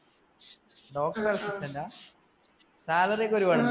salary ഒക്കെ ഒരുപാട് ഉണ്ടോ?